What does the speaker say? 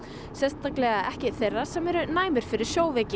sérstaklega ekki þeirra sem eru næmir fyrir sjóveiki